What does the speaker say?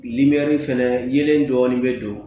fɛnɛ yelen dɔɔnin bɛ don